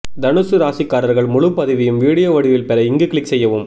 தனுசு ராசிக்காரர்கள் முழுபதிவையும் வீடியோ வடிவில் பெற இங்கு க்ளிக் செய்யவும்